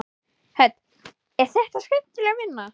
Hödd: Er þetta skemmtileg vinna?